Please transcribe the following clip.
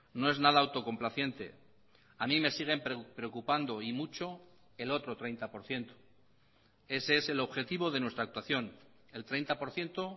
no es nada autocomplaciente a mí me siguen preocupando y mucho el otro treinta por ciento ese es el objetivo de nuestra actuación el treinta por ciento